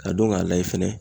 K'a dɔn k'a layɛ fɛnɛ.